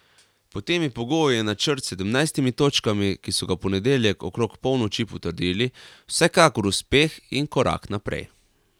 Pod temi pogoji je načrt s sedemnajstimi točkami, ki so ga v ponedeljek okrog polnoči potrdili, vsekakor uspeh in korak naprej.